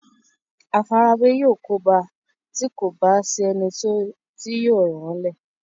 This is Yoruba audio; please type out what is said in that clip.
àfarawé yóò kóbá a tí kò bá sí ẹni tí yóò ràn án le